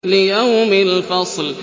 لِيَوْمِ الْفَصْلِ